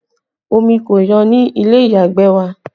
Omi kò yọ ní ilé ìyàgbẹ̀ wa